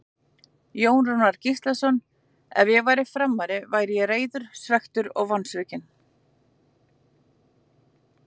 Jón Rúnar Gíslason Ef ég væri Framari væri ég reiður, svekktur og vonsvikinn.